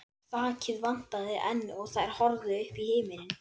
Þakið vantaði enn og þær horfðu upp í himininn.